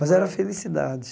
Mas era felicidade.